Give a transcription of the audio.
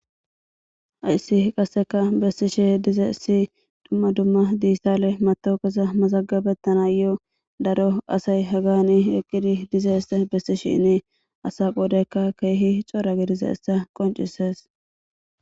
Hayssi qasseka bessishe diza issi dumma dumma diissale matoukesa masagabettana yoo daro asay hagani eqqidi diza isse bessishinni asa qoodeykka keehi cora gidiza essa qoncisees.